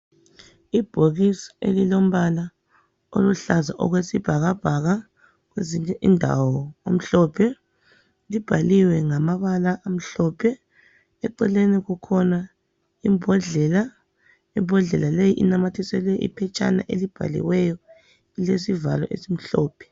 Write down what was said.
Imbokisi elilombala oluhlaza okwesibhakabhaka kwezinye indawo omhlophe. Libhaliwe ngamabala amhlophe. Eceleni kukhona imbodlela. Imbodlela leyi inamathiselwe iphetshana elibhaliweyo elilesivalo esimhlophe.